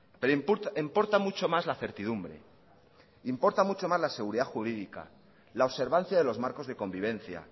pero importa mucho más la certidumbre importa mucho más la seguridad jurídica la observancia de los marcos de convivencia